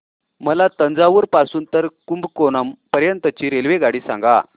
मला तंजावुर पासून तर कुंभकोणम पर्यंत ची रेल्वेगाडी सांगा